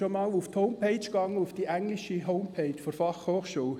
Haben Sie schon einmal die englische Homepage der BFH besucht?